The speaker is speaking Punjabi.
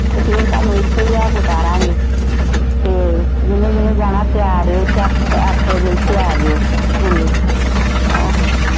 ਤੇ ਫਿਰ ਤੁਹਾਨੂੰ ਇੱਥੇ ਈ ਲਿਆ ਕੇ ਤਾਰਾਂਗੇ ਤੇ ਜਿੰਨੇ ਜਿੰਨੇ ਜਾਣਾ ਤਿਆਰ ਰਹਿਓ ਅੱਠ ਵਜੇ ਇੱਥੇ ਆਜਿਓ ਸਕੂਲੇ ਆਹੋ